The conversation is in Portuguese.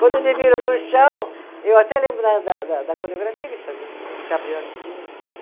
Quando eles me viram no chão, eu até lembro da da da, da coreografia que eles faziam, os